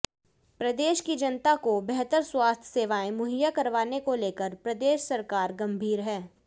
प्रदेश की जनता को बेहतर स्वास्थ्य सेवाएं मुहैया करवाने को लेकर प्रदेश सरकार गंभीर है